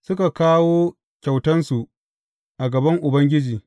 Suka kawo kyautansu a gaban Ubangiji.